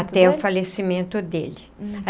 Até o falecimento dele.